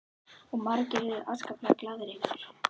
Og margir urðu afskaplega glaðir yfir þessu.